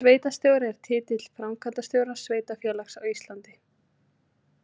Sveitarstjóri er titill framkvæmdastjóra sveitarfélags á Íslandi.